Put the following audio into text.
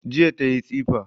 Jiya tayi tsifa